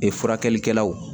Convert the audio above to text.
Ee furakɛlikɛlaw